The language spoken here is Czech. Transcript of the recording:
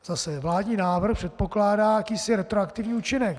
Zase - vládní návrh předpokládá jakýsi retroaktivní účinek.